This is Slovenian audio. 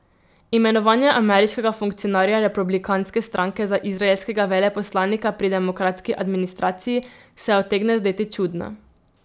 Imenovanje ameriškega funkcionarja republikanske stranke za izraelskega veleposlanika pri demokratski administraciji se utegne zdeti čudno.